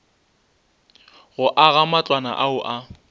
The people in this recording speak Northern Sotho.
go aga matlwana ao a